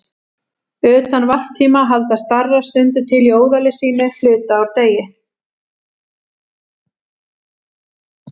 Utan varptíma halda starar stundum til á óðali sínu hluta úr degi.